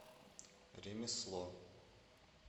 ремесло